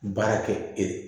Baara kɛ e